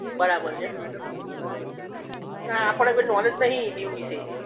બરાબર છે આપડે ભાઈ નોલેજ નઇ દીવ વિશે